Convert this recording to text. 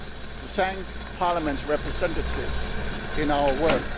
like to take this opportunity to thank Parliament's representatives